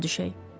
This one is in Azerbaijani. Yola düşək.